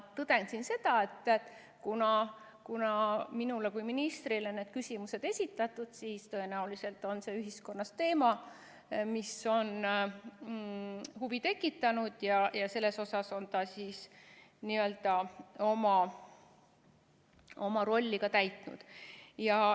Tõden siin seda, et kuna minule kui ministrile on need küsimused esitatud, siis tõenäoliselt on see ühiskonnas teema, mis on huvi tekitanud, ja selles osas on ta oma rolli täitnud.